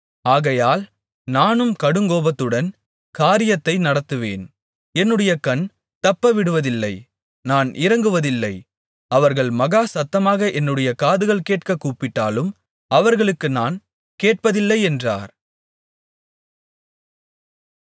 ஆகையால் நானும் கடுங்கோபத்துடன் காரியத்தை நடத்துவேன் என்னுடைய கண் தப்பவிடுவதில்லை நான் இரங்குவதில்லை அவர்கள் மகா சத்தமாக என்னுடைய காதுகள் கேட்கக் கூப்பிட்டாலும் அவர்களுக்கு நான் கேட்பதில்லை என்றார்